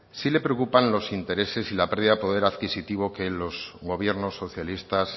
si le preocupan los intereses y la pérdida de poder adquisitivo que los gobiernos socialistas